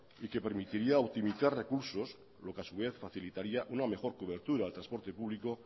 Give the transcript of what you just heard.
y que permitiría optimizar recursos lo que a su vez facilitaría una mejor cobertura del transporte público